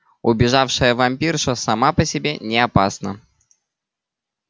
убежавшая вампирша сама по себе не опасна